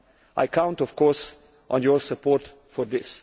I count of course on your support for this.